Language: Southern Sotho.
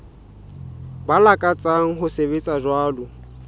ba lakatsang ho sebetsa jwalo